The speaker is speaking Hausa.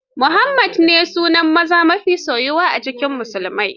Muhammadu ne sunan maza mafi soyuwa a cikin musulmai.